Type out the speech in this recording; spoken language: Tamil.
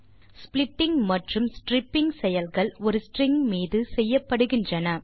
ஸ்ப்ளிட்டிங் மற்றும் ஸ்ட்ரிப்பிங் செயல்கள் ஒரு ஸ்ட்ரிங் மீது செய்யப்படுகின்றன